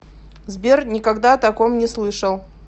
сбер никогда о таком не слышал